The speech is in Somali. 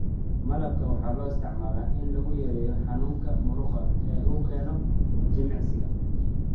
Malabka waxaa loo isticmaalaa in lagu yareeyo xanuunka murqaha ee uu keeno jimicsiga.